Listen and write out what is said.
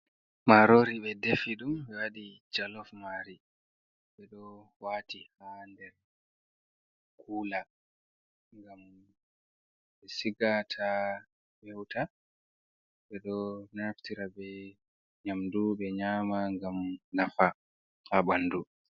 Marori ɓe defi ɗum ɓe waɗi jalof mari ɓe ɗo wati ha nder kula ngam ɓe siga ta fewuta. Be ɗo naftira be nyamdu be nyama gam nafa ha bandu.